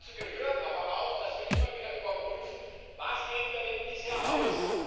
Dazu gehört aber auch, dass wir immer wieder überprüfen Was geben wir denn bisher aus?